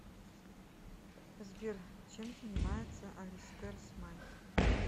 сбер чем занимается алистер смайт